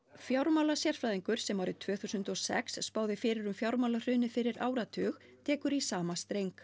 fjármálasérfræðingur sem árið tvö þúsund og sex spáði fyrir um fjármálahrunið fyrir áratug tekur í sama streng